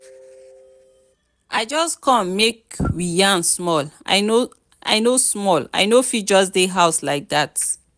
i just come make we yarn small i no small i no fit just dey house like dat.